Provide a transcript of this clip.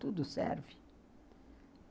Tudo serve.